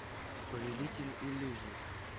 повелитель иллюзий